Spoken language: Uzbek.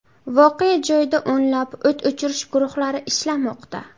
Voqea joyida o‘nlab o‘t o‘chirish guruhlari ishlamoqda.